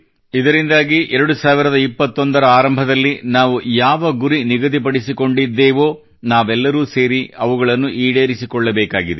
ಇದರಿಂದಾಗಿ2021ರ ಆರಂಭದಲ್ಲಿ ನಾವು ಯಾವ ಗುರಿ ನಿಗದಿಪಡಿಸಿಕೊಂಡಿದ್ದೇವೋ ನಾವೆಲ್ಲರೂ ಸೇರಿ ಅವುಗಳನ್ನು ಈಡೇರಿಸಿಕೊಳ್ಳಬೇಕಾಗಿದೆ